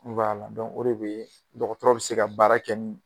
o de bɛ dɔgɔtɔrɔ bɛ se ka baara kɛ